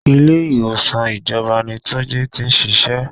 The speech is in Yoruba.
Ilé ìwòsàn ìjọba ni túnjí tí ń ṣíṣe.